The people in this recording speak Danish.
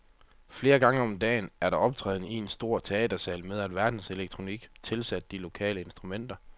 Flere gange om dagen er der optræden i en stor teatersal med alverdens elektronik tilsat de lokale instrumenter.